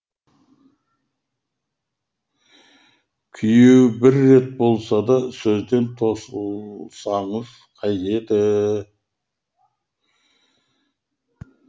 күйеуі бір рет болса да сөзден тосылсаңыз қайтеді